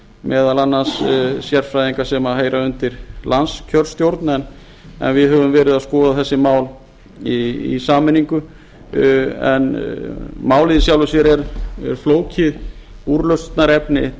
meðal annars sérfræðinga sem heyra undir landskjörstjórn en við höfum verið að skoða þessi mál í sameiningu en málið í sjálfu sér er flókið úrlausnarefni